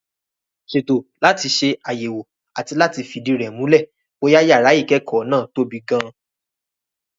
Ṣètò láti ṣe àyẹ̀wò àti láti fìdí rẹ̀ múlẹ̀ bóyá yàrá ìkẹ́kọ̀ọ́ náà tóbi gan-an.